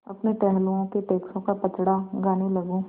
अपने टहलुओं के टैक्सों का पचड़ा गाने लगूँ